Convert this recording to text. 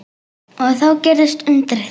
Og þá gerðist undrið.